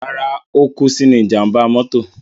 Rárá, ó kú sínú ìjàmbá mọ́tò.